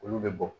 Olu bɛ bɔ